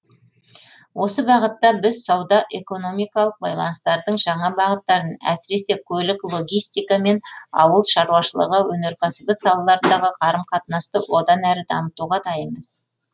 осы бағытта біз сауда экономикалық байланыстардың жаңа бағыттарын әсіресе көлік логистика мен ауыл шаруашылығы өнеркәсібі салаларындағы қарым қатынасты одан әрі дамытуға дайынбыз